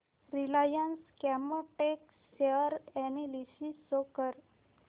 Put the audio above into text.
Reliance Chemotex share analysis show कर